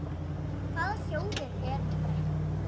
Hvaða sjóður er nú þetta?